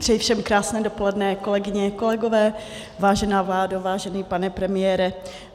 Přeji všem krásné dopoledne, kolegyně, kolegové, vážená vládo, vážený pane premiére.